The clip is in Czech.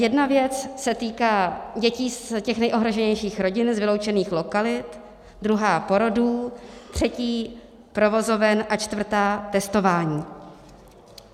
Jedna věc se týká dětí z těch nejohroženějších rodin z vyloučených lokalit, druhá porodů, třetí provozoven a čtvrtá testování.